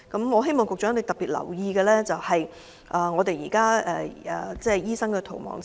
我希望局長能特別關注現時醫生的"逃亡潮"。